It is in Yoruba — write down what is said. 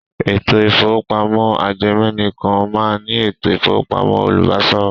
Ètò ìkówópamọ́ ajẹmẹ̀nìkan náà ní ètò ìkówópamọ́ olùbáṣòwò.